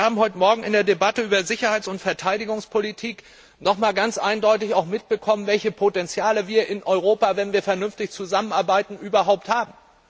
Wir haben heute Morgen in der Debatte über Sicherheits und Verteidigungspolitik noch einmal ganz eindeutig mitbekommen, welche Potenziale wir in Europa, wenn wir vernünftig zusammenarbeiten, überhaupt haben.